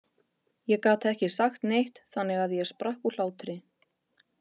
Ég gat ekki sagt neitt þannig að ég sprakk úr hlátri.